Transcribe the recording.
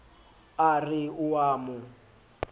a re o a mo